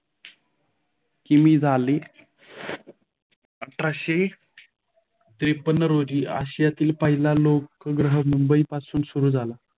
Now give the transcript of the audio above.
कीमी झाली अठराशे त्रेपन्न रोजी आशियातील पहिला लोक ग्रह मुंबईपासून सुरू झाला.